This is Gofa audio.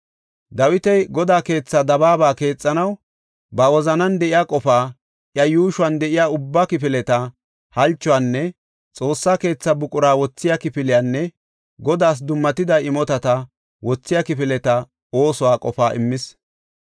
Dawiti Godaa keetha dabaaba keexanaw ba wozanan de7iya qofaa, iya yuushuwan de7iya ubba kifileta halchuwanne Xoossa keethaa buqura wothiya kifiliyanne Godaas dummatida imotata wothiya kifileta oosuwa qofaa immis.